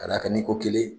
Ka d'a kan ni ko kelen